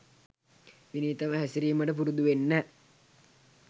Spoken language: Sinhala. විනීතව හැසිරීමට පුරුදුවෙන්න